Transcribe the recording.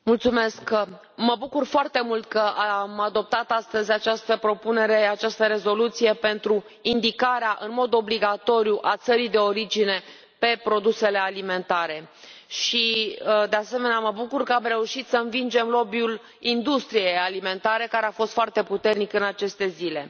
Doamnă președintă, mă bucur foarte mult că am adoptat astăzi această propunere, această rezoluție pentru indicarea în mod obligatoriu a țării de origine pe produsele alimentare și, de asemenea, mă bucur că am reușit să învingem lobby ul industriei alimentare, care a fost foarte puternic în aceste zile.